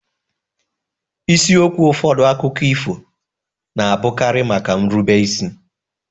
Isiokwu ụfọdụ akụkọ ifo na-abụkarị maka nrube isi.